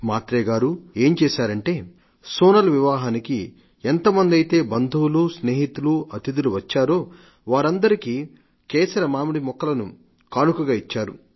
మాత్రే గారు ఏం చేశారంటే సోనల్ వివాహానికి ఎంతమందైతే బంధువులు స్నేహితులు అతిథులు వచ్చారో వారందరికీ కేసర మామిడి మొక్కను కానుకగా ఇచ్చారు